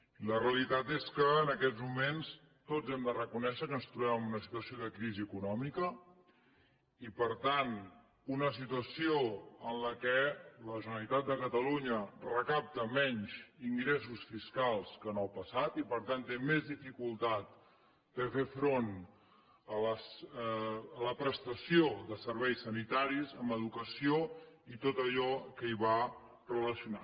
i la realitat és que en aquests moments tots hem de reconèixer que ens trobem en una situació de crisi econòmica i per tant una situació en la qual la generalitat de catalunya recapta menys ingressos fiscals que en el passat i per tant té més dificultat de fer front a la prestació de serveis sanitaris en educació i tot allò que hi va relacionat